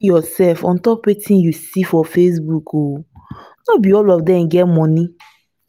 no go kill yoursef on top wetin you see for facebook o no be all of dem get moni.